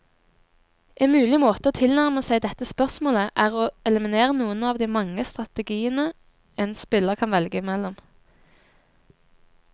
En mulig måte å tilnærme seg dette spørsmålet, er å eliminere noen av de mange strategiene en spiller kan velge mellom.